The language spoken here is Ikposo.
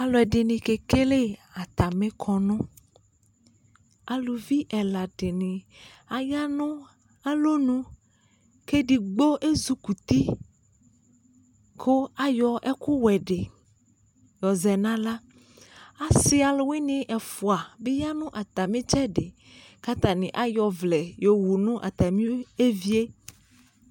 Alʋɛdɩnɩ kekele atamɩ kɔnʋ Aluvi ɛla dɩnɩ aya nʋ alɔnu kʋ edigbo ezikuti kʋ ayɔ ɛkʋwɛ dɩ yɔzɛ nʋ aɣla Asɩ alʋwɩnɩ ɛfʋa bɩ ya nʋ atamɩ ɩtsɛdɩ kʋ atanɩ ayɔ ɔvlɛ yɔwu nʋ atamɩ evi yɛ